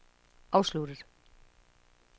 afsluttet